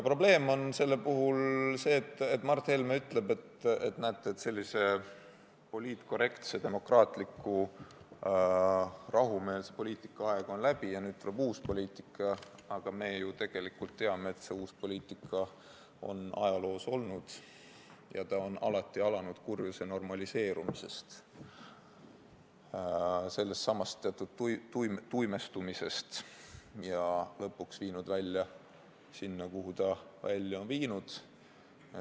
Probleem on see, et Mart Helme ütleb, näete, sellise poliitkorrektse, demokraatliku, rahumeelse poliitika aeg on läbi ja nüüd tuleb uus poliitika, aga me ju tegelikult teame, et see uus poliitika on ajaloos olemas olnud ja ta on alati alanud kurjuse normaliseerumisest, sellestsamast teatud tuimestumisest, ja lõpuks viinud välja sinna, kuhu ta välja on viinud.